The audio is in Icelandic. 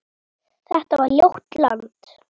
Þetta var ljótt land.